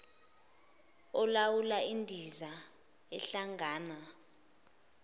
olawula indiza ehlangana